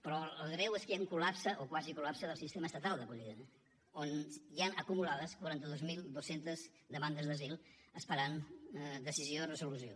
però el greu és que hi ha un col·lapse o quasi col·lapse del sistema estatal d’acollida on hi han acumulades quaranta dos mil dos cents demandes d’asil esperant decisió i resolució